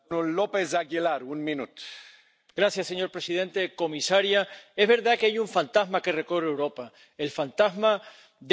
Señor presidente, comisaria, es verdad que hay un fantasma que recorre Europa el fantasma del nacionalismo, que es la negación de Europa